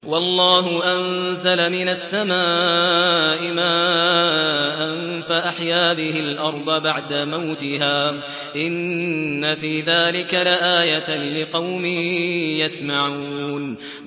وَاللَّهُ أَنزَلَ مِنَ السَّمَاءِ مَاءً فَأَحْيَا بِهِ الْأَرْضَ بَعْدَ مَوْتِهَا ۚ إِنَّ فِي ذَٰلِكَ لَآيَةً لِّقَوْمٍ يَسْمَعُونَ